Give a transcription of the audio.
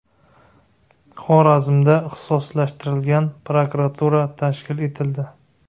Xorazmda ixtisoslashtirilgan prokuratura tashkil etildi.